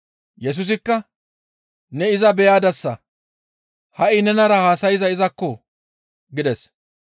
Yesusikka, «Ne iza beyadasa; ha7i nenara haasayzay izakko!» gides.